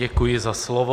Děkuji za slovo.